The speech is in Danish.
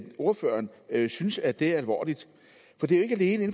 ordføreren ikke synes at det er alvorligt